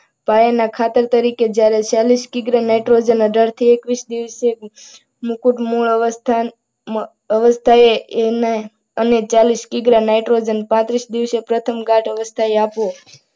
પાયાના ખાતર તરીકે જ્યારે ચાલીસ કિગ્રા nitrogen અઢારથી એકવીસ દિવસે મુકુટ મોડ અવસ્થામાં અવાજ થાય એને આને ચાલીસ કિગ્રા nitrogen પત્રીસ દિવસે પ્રથમ ઘાટઅવસ્થા આપવું.